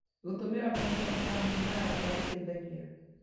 Gũtũmĩra mahinda na bamĩrĩ na arata gũteithagia